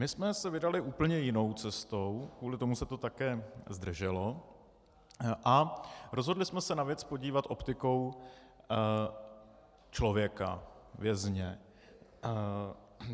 My jsme se vydali úplně jinou cestou - kvůli tomu se to také zdrželo - a rozhodli jsme se na věc podívat optikou člověka, vězně.